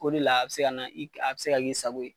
O de la, a bɛ se ka na a bɛ se ka k'i sago ye.